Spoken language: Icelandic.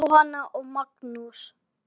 Jóhanna og Magnús.